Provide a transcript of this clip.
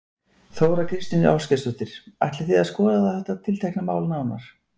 Þóra Kristín Ásgeirsdóttir: Ætlið þið að skoða þetta tiltekna mál nánar?